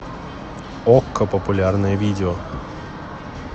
окко популярное видео